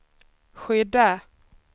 skydda